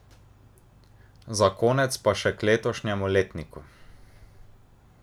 Za konec pa še k letošnjemu letniku.